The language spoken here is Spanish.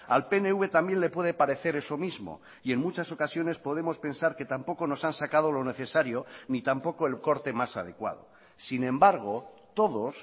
al pnv también le puede parecer eso mismo y en muchas ocasiones podemos pensar que tampoco nos han sacado lo necesario ni tampoco el corte más adecuado sin embargo todos